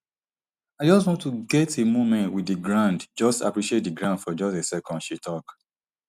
i just want to get a moment wit di ground just appreciate di ground for just a second she tok